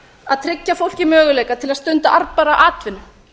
að tryggja fólki möguleika til að stunda arðbæra atvinnu